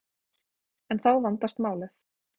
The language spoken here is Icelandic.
En þá vandast málið.